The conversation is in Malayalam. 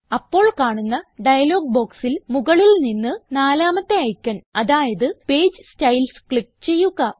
അപ്പോൾ കാണുന്ന ഡയലോഗ് ബോക്സിൽ മുകളിൽ നിന്ന് നാലാമത്തെ ഐക്കൺ അതായത് പേജ് സ്റ്റൈൽസ് ക്ലിക്ക് ചെയ്യുക